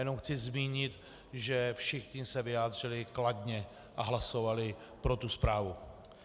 Jenom chci zmínit, že všichni se vyjádřili kladně a hlasovali pro tu zprávu.